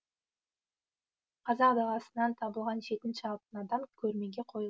қазақ даласынан табылған жетінші алтын адам көрмеге қойылды